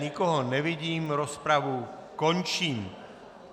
Nikoho nevidím, rozpravu končím.